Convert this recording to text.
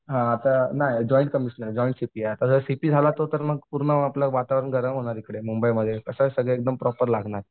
हां आता नाही जॉईंट कमिश्नर जॉईंट आता जर सीपी झाला तो तर मग आपलं पूर्ण वातावरण गरम होणार इकडे मुंबईमध्ये कसं आहे सगळं एकदम प्रॉपर लागणार.